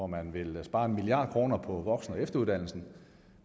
man vil spare en milliard kroner på voksen og efteruddannelsen